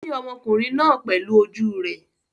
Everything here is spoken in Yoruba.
Ó rí ọmọkùnrin náà pẹ̀lú ojú rẹ̀?